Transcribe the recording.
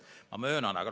Ma möönan seda.